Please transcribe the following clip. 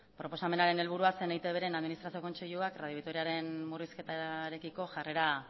proposamenaren helburua zen eitbren administrazio kontseiluak radio vitoriaren murrizketarekiko jarrera